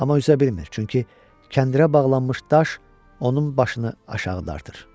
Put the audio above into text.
Amma üzə bilmir, çünki kəndirə bağlanmış daş onun başını aşağı dartır.